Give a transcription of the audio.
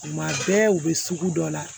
Tuma bɛɛ u bɛ sugu dɔ la